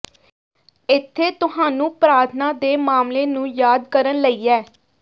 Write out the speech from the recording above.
ਇੱਥੇ ਤੁਹਾਨੂੰ ਪ੍ਰਾਰਥਨਾ ਦੇ ਮਾਮਲੇ ਨੂੰ ਯਾਦ ਕਰਨ ਲਈ ਹੈ